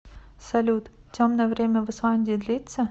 салют темное время в исландии длится